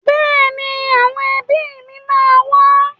Bẹ́ẹ̀ni, àwọn ẹbí mi máa wá.